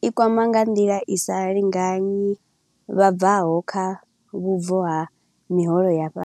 I kwama nga nḓila i sa lingani vhabvaho kha vhubvo ha miholo ya fha.